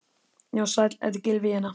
Já, sæll, þetta er Gylfi hérna.